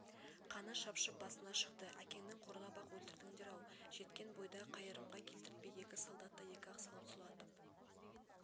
қаны шапшып басына шықты әкеңнің қорлап-ақ өлтірдіңдер-ау жеткен бойда қайырымға келтіртпей екі солдатты екі-ақ салып сұлатып